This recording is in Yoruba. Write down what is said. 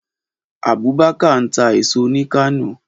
Abubakar ń ta èèso ni Kano